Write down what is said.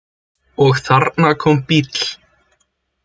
Og þarna kom bíll.